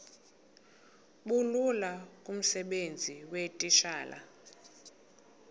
bulula kumsebenzi weetitshala